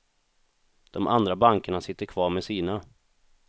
De andra bankerna sitter kvar med sina.